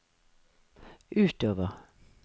utover